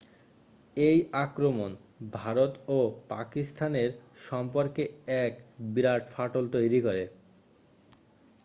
এই আক্রমণ ভারত ও পাকিস্তানের সম্পর্কে এক বিরাট ফাটল তৈরি করে